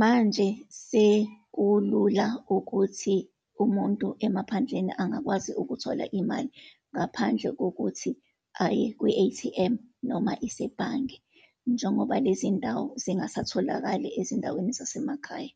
Manje sekulula ukuthi umuntu emaphandleni angakwazi ukuthola imali, ngaphandle kokuthi aye kwi-A_T_M, noma isebhange, njengoba lezindawo zingasatholakali ezindaweni zasemakhaya.